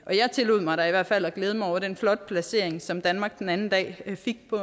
jeg tillod mig da i hvert fald at glæde mig over den flotte placering som danmark den anden dag fik på